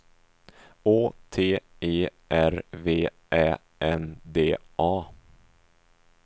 Å T E R V Ä N D A